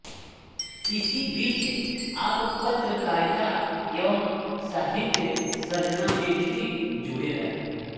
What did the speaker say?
इसी बीच आप पत्रकारिता एवं साहित्यसर्जना में भी जुड़े रहे